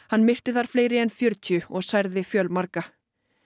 hann myrti fleiri en fjörutíu og særði fjölmarga